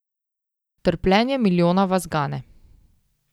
Trpljenje milijona vas gane.